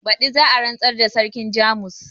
Badi za a rantsar da sarkin jamus